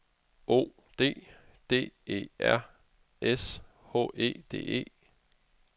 O D D E R S H E D E